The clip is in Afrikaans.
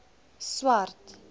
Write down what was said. swart